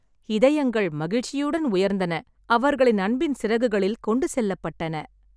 இதயங்கள் மகிழ்ச்சியுடன் உயர்ந்தன, அவர்களின் அன்பின் சிறகுகளில் கொண்டு செல்லப்பட்டன.